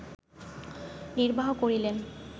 নির্বাহ করিলেন